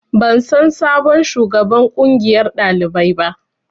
Ban san sabon shugaban ƙungiyar ɗalibai ba